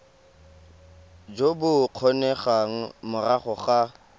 jo bo kgonegang morago ga